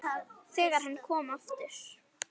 ÞEGAR HANN KOM AFTUR